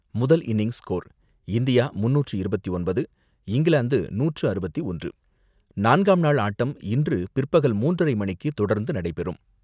முதல் innings score India மூன்நூற்று இருபத்தொன்பது, இங்கிலாந்து நூற்று அறுபத்து ஒன்று எடுத்தது, நான்காம் நாள் ஆட்டம் இன்று பிற்பகல் மூன்றரை மணிக்கு தொடர்ந்து நடைபெறும்.